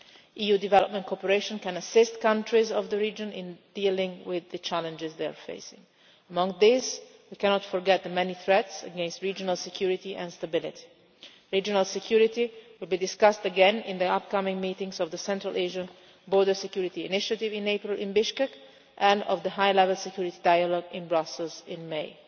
EU development cooperation can assist countries of the region in dealing with the challenges they are facing. Among these we cannot forget the many threats to regional security and stability. Regional security will be discussed again in the upcoming meetings of the Central Asian border security initiative in April in Bishkek and of the high level security dialogue in Brussels in